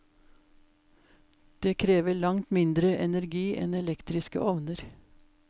Det krever langt mindre energi enn elektriske ovner.